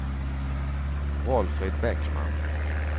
Valfrid Bäckman